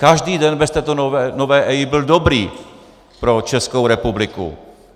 Každý den bez této nové EIA byl dobrý pro Českou republiku.